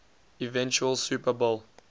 eventual super bowl